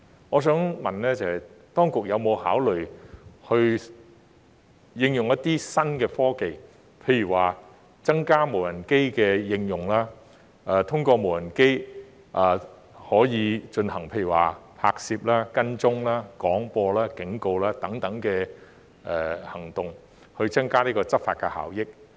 我想問的是，當局有否考慮應用一些新科技，譬如增加無人機的應用，通過無人機進行拍攝、跟蹤、廣播及警告等行動，以增加執法效益？